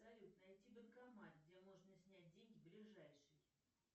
салют найти банкомат где можно снять деньги ближайший